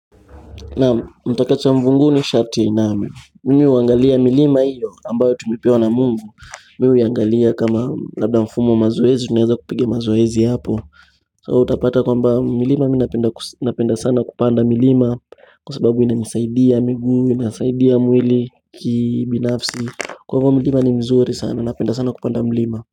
Naam mtaka cha mvunguni sharti ainame mimi uangalia milima hiyo ambayo tumepewa na Mungu mi huiangalia kama labda mfumo mazoezi tunaeza kupiga mazoezi hapo So utapata kwamba milima minapenda sana kupanda milima kwa sababu inanisaidia miguu, inasaidia mwili kibinafsi Kwa ivo milima ni mzuri sana, napenda sana kupanda milima.